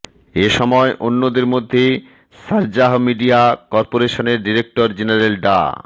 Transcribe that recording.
এসময় অন্যদের মধ্যে শারজাহ মিডিয়া করপোরেশনের ডিরেক্টর জেনারেল ডা